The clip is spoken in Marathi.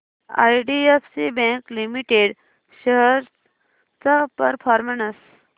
आयडीएफसी बँक लिमिटेड शेअर्स चा परफॉर्मन्स